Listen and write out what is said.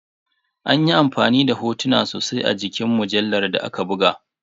An yi amfani da hotuna sosai a cikin mujallar da aka buga.